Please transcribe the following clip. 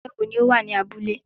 ẹgbẹ́ ni ó wà ní abúlé.